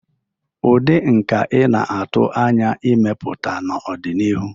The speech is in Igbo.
ụdị nka ị na-atụ anya ịmepụta n'ọdịnihu?